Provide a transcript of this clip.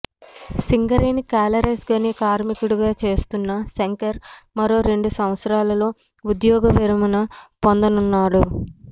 Singareni collieries గని కార్మికుడుగా చేస్తున్న శంకర్ మరో రెండు సంవత్సరాల్లో ఉద్యోగ విరమణ పొందనున్నాడు